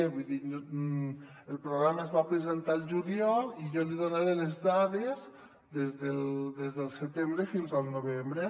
vull dir el programa es va presentar al juliol i jo n’hi donaré les dades des del setembre fins al novembre